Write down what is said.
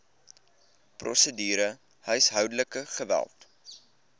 prosedure huishoudelike geweld